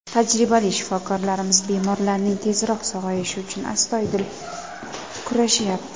Tajribali shifokorlarimiz bemorlarning tezroq sog‘ayishi uchun astoydil kurashyapti.